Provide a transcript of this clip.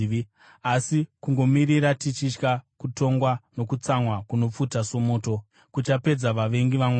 asi kungomirira tichitya kutongwa nokutsamwa kunopfuta somoto, kuchapedza vavengi vaMwari.